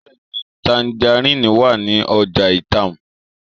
Bẹẹni, tangerine wa ni ọja Itam